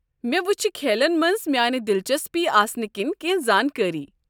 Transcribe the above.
مےٚ وٕچھِ کھیلن منٛز میٲنہِ دلچسپی آسنہٕ کِنۍ کٮ۪نٛہہ زانٛکٲری۔